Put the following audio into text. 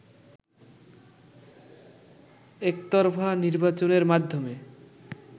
একতরফা নির্বাচনের মাধ্যমে